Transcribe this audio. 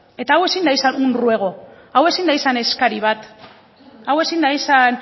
eta hau ezin da izan un ruego hau ezin da izan eskari bat hau ezin da izan